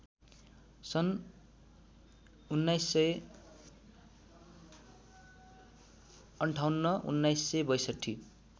सन् १९५८ १९६२